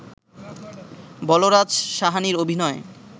বলরাজ সাহানির অভিনয়